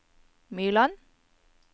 Myrland